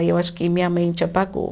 Aí eu acho que minha mente apagou.